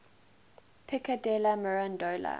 pico della mirandola